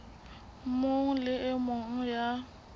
mong le e mong ya